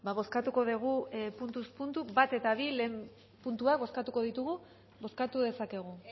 bozkatuko dugu puntuz puntu batgarrena eta bigarrena puntuak bozkatuko ditugu bozkatu dezakegu